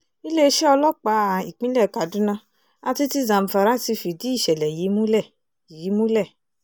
iléeṣẹ́ ọlọ́pàá ìpínlẹ̀ kaduna àti ti zamfara ti fìdí ìṣẹ̀lẹ̀ yìí múlẹ̀ yìí múlẹ̀